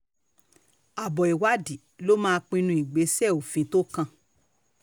àbọ̀ ìwádìí ló máa pinnu ìgbésẹ̀ òfin tó kàn